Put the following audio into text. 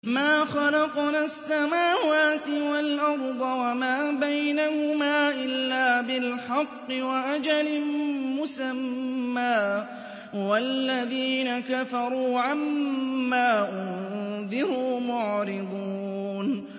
مَا خَلَقْنَا السَّمَاوَاتِ وَالْأَرْضَ وَمَا بَيْنَهُمَا إِلَّا بِالْحَقِّ وَأَجَلٍ مُّسَمًّى ۚ وَالَّذِينَ كَفَرُوا عَمَّا أُنذِرُوا مُعْرِضُونَ